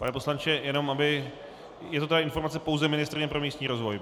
Pane poslanče, je to ta informace pouze ministryně pro místní rozvoj?